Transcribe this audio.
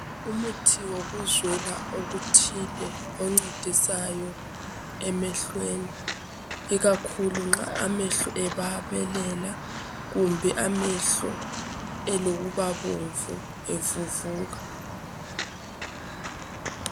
Umuthi yokuzwela okuthile oncedisayo emehlweni. Ikakhulu nxa amehlo ebabelela, kumbe amehlo elokuba bomvu evuvuka.